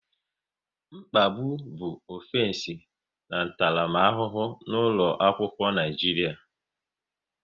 Mkpagbu bụ ọfensi ntaramahụhụ n'ụlọ akwụkwọ Naijiria